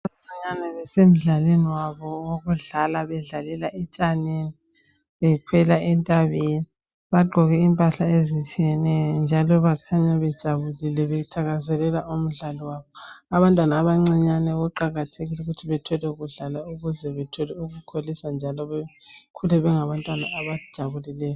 Abantwana abancinyane. Basemdlalweni wabo, wokudlala. Bedlalela etshanini. Bekhwela entabeni. Bagqoke impahla ezitshiyeneyo, njalo bakhanya bejabule. Bethakazelela umdlalo wabo.. Abantwana abancane kuqakathekile ukuthi bathole ukudlala, ukuze bethole ukukholisa, njalo bekhule bengabantwana abajabulileyo.